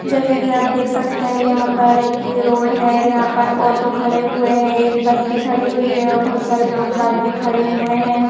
जैसे कि आप देख सकते हैं यहां पर एक रोड है और यहां पर ऑटो खड़े हुए हैं एक बस भी खड़ी हुई है और बहुत सारे लोग बाग भी खड़े हुए हैं।